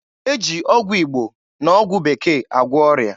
E ji ọgwụ Igbo na ọgwụ Bekee agwọ ọrịa.